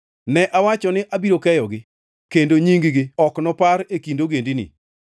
Ne awacho ni abiro keyogi kendo nying-gi ok nopar e kind ogendini,